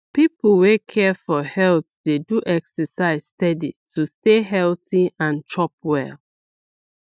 people wey care for health dey do exercise steady to stay healthy and chop well